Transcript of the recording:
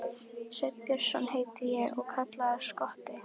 Sveinn Björnsson heiti ég og kallaður Skotti.